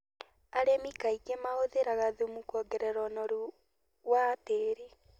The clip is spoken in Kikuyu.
Arĩmi kaingĩ mahũthagĩra thumu kũongerera ũnoru wa tĩri.